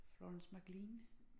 Florence McLean